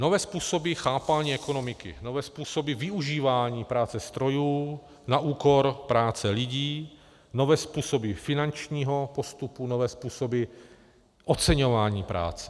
Nové způsoby chápání ekonomiky, nové způsoby využívání práce strojů na úkor práce lidí, nové způsoby finančního postupu, nové způsoby oceňování práce.